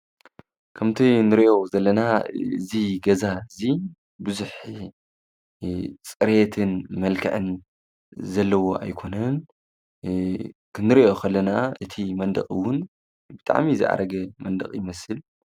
እዚ ገዛ ዚ ፅሬት ይኹን መልክዕ ዘይብሉ ኮይኑ ዝኣረገ እውን እዩ።